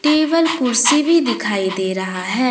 Table कुर्सी भी दिखाई दे रहा है।